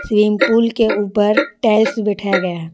Swimming pool के ऊपर tiles बैठाया गया।